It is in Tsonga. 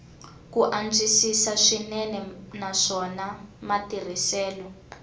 ku antswisiwa swinene naswona matirhiselo